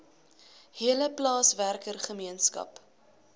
hele plaaswerker gemeenskap